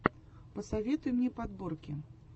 посоветуй мне подборки